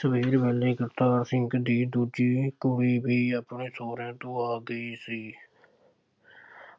ਸਵੇਰ ਵੇਲੇ ਕਰਤਾਰ ਸਿੰਘ ਦੀ ਦੂਜੀ ਕੁੜੀ ਵੀ ਆਪਣੇ ਸਹੁਰਿਆਂ ਤੋਂ ਆ ਗਈ ਸੀ।